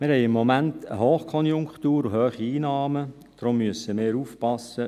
Wir haben im Moment eine Hochkonjunktur und hohe Einnahmen, darum müssen wir aufpassen: